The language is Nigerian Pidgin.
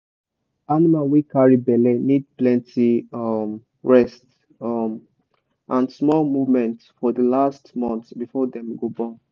animal wey carry belle need plenty um rest um and small movement for the last month before dem go born.